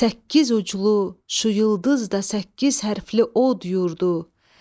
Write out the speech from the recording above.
Səkkiz uclu şu yıldız da səkkiz hərflı od yurdu.